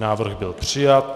Návrh byl přijat.